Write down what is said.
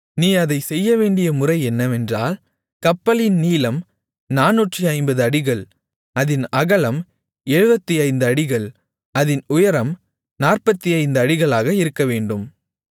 நீ அதைச் செய்யவேண்டிய முறை என்னவென்றால் கப்பலின் நீளம் 450 அடிகள் அதின் அகலம் 75 அடிகள் அதின் உயரம் 45 அடிகளாக இருக்கவேண்டும்